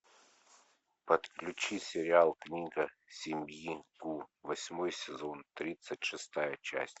подключи сериал книга семьи гу восьмой сезон тридцать шестая часть